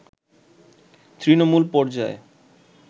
তৃণমূল পর্যায়ে